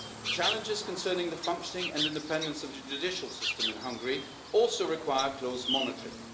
Challenges concerning the functioning and independence of the judicial system in Hungary also require close monitoring.